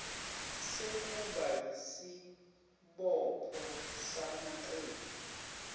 sekuba yisibopho samaqembu